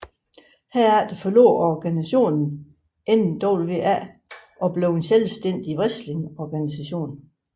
Herefter forlod organisationen NWA og blev en selvstændig wrestlingorganisation